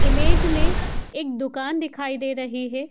Image में एक दुकान दिखाई दे रही है।